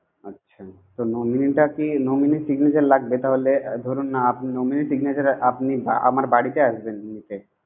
আচ্ছা nominee কে, nominee signature লাগবে তাহলে। ধরুন আপনি nominee এর signature এ আপনি আ~ আমার বাড়িতে আসবে নিতে,